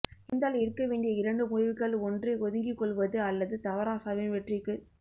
இருந்தால் எடுக்க வேண்டிய இரண்டு முடிவுகள்இ ஒன்று ஒதுங்கிக் கொள்வது அல்லது தவராசாவின் வெற்றிக்குத்